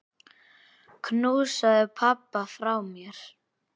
Knúsaðu pabba frá mér.